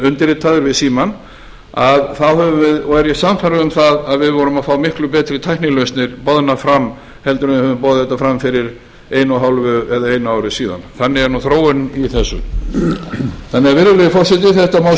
undirritaður við símann og er ég sannfærður um að við vorum að fá miklu betri tæknilausnir boðnar áfram heldur en ef við hefðum boðið þetta fram fyrir einu og hálfu eða einu ári síðan þannig er þróunin í þessu virðulegi forseti það má